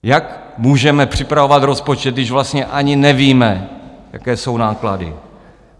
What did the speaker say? Jak můžeme připravovat rozpočet, když vlastně ani nevíme, jaké jsou náklady?